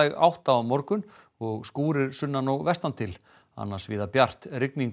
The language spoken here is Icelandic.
átt á morgun og skúrir sunnan og vestan til annars víða bjart rigning